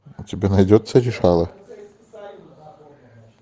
у тебя найдется решала